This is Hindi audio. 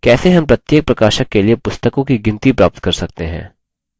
कैसे how प्रत्येक प्रकाशक के लिए पुस्तकों की गिनती प्राप्त कर सकते हैं